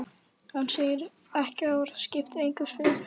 Hann segir ekki orð, skiptir ekki um svip.